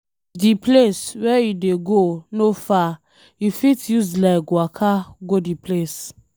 If di place wey you dey go no far, you fit use leg waka go di place